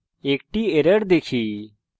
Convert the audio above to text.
আমরা একটি error দেখি